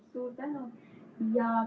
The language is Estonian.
Suur tänu!